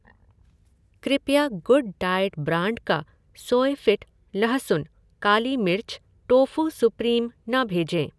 कृपया good diet brand का Soyfit लहसुन, काली मिर्च, टोफू सुप्रीम न भेजें।